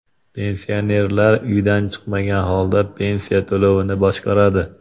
Pensionerlar uydan chiqmagan holda pensiya to‘lovini boshqaradi.